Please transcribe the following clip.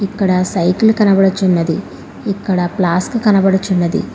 ఇక్కడ సైకిల్ కనబడుచున్నది ఇక్కడ ప్లాస్క్ కనబడుచున్నది.